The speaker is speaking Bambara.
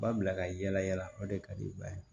Ba bila ka yala yala o de ka di i ba ye